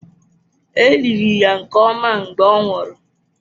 E liri ya nke ọma mgbe ọ nwụrụ.